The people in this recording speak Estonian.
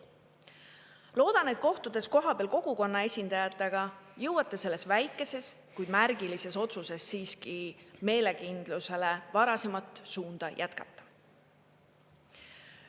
Loodan, et kohtudes kohapeal kogukonna esindajatega, jõuate selles väikeses, kuid märgilises otsuses siiski meelekindlusele varasemat suunda jätkata.